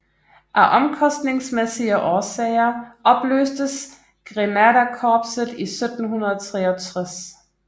Af omkostningsmæssige årsager opløstes Grenaderkorpset i 1763